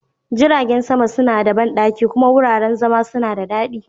Jiragen sama suna da banɗaki kuma wuraren zama suna da daɗi.